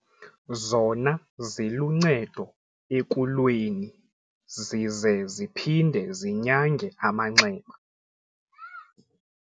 ] zona ziluncedo ekulweni ] zize ziphinde zinyange amanxeba.